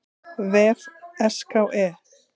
vef SKE.